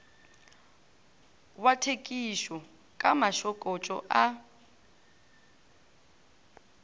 wa thekišo ka mašokotšo a